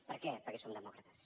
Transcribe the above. per què perquè som demòcrates